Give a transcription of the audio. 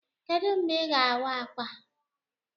Kedụ mgbe Ị ga-awa ákwà?